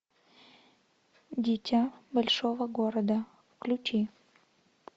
дитя большого города включи